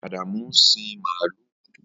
Adamu ń sin màlúù.